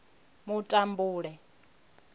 mutambule